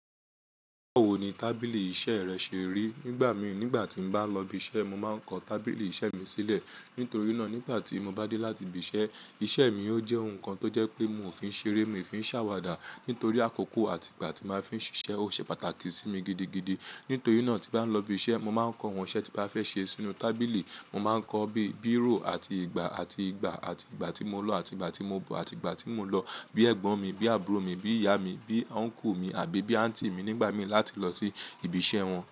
Báwo ni tábìlì iṣẹ́ rẹ ṣe rí? Nígbà mi, nígbà tí n bá lọ ibi iṣẹ́, mo máa ń kọ́ tábìlì iṣẹ́ mi sílẹ̀. Nítorí náà, nígbà tí mo bá dé láti ibi iṣẹ́, iṣẹ́ mi yóò jẹ́ ohun kan tó jẹ́ pé mi ò fi ń ṣeré, mi ò fi ń ṣàwàdà. Nítorí àkókò àti ìgbà tí màá fi ń ṣiṣẹ́ ó ṣe pàtàkì sí mi gidigidi. Nítorí náà, tí bá lọ ibi iṣẹ́, mo máa ń kọ ohun iṣẹ́ tí màá fẹ́ ṣe sínú tábìlì. Mo máa ń kọ bí bírò àti ìgbà àti ìgbà àti ìgbà tí mo lọ àti ìgbà tí mo bọ̀ àti ìgbà tí mò ń lọ. Bí ẹ̀gbọ́n mi, bí àbúrò mi, bí ìyá mi, bí uńcle mi àbí bí àuǹty mi nígbà mí láti lọ sí ibi iṣẹ́ wọn.